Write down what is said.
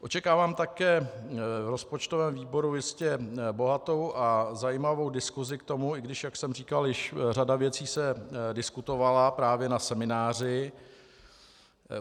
Očekávám také v rozpočtovém výboru jistě bohatou a zajímavou diskusi k tomu, i když jak jsem říkal, již řada věcí se diskutovala právě na semináři.